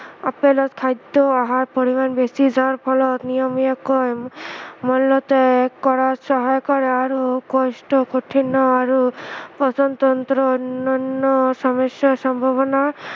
আপেলত খাদ্য়সাৰ পৰিমাণ বেছি যাৰ ফলত নিয়মিয়াকৈ মলত্য়াগ কৰা সহায় কৰে আৰু কোষ্ঠ্য়কাঠিন্য় আৰু পাচনতন্ত্ৰ অনন্য় সমস্য়াৰ সম্ভাৱনা